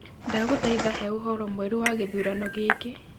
Ndagũthaitha he ũhoro mwerũ wa gĩthurano gĩkĩ